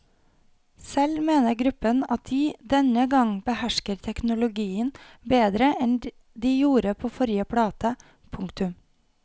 Selv mener gruppen at de denne gang behersker teknologien bedre enn de gjorde på forrige plate. punktum